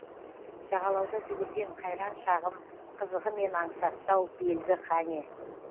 жағалауда жүгірген қайран шағым қызығымен аңсатты ау белгі қане